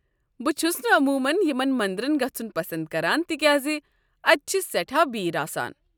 بہٕ چھس نہٕ عموٗمن یمن منٛدرن گژھُن پسنٛد کران تکیازِ اتہِ چھِ سیٚٹھاہ بِرٕ آسان۔